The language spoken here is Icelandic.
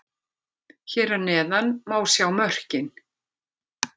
Hér að neðan má sjá mörkin: